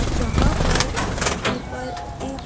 जहां पर ऊपर एक--